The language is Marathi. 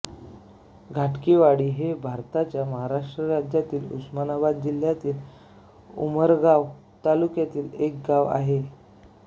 धाकटीवाडी हे भारताच्या महाराष्ट्र राज्यातील उस्मानाबाद जिल्ह्यातील उमरगा तालुक्यातील एक गाव आहे